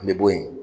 An bɛ bo yen